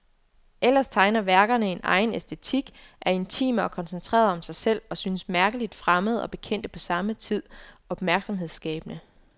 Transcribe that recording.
Ellers tegner værkerne en egen æstetik, er intime og koncentrerede om sig selv, og synes mærkeligt fremmede og bekendte på samme tid, opmærksomhedsskabende.